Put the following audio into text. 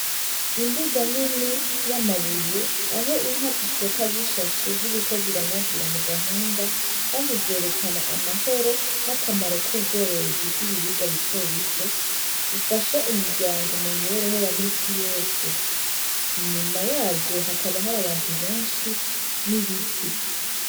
Imbuga nini y'amabuye aho inka zishoka zishashe ziriko ziranyagira mu gahinga, kandi vyerekana amahoro n'akamaro k'ubworozi bw'ibiribwa bito bito ufasha imiryango mu mibereho ya misi yose, inyuma yazo hakaba hari abantu benshi n'ibiti.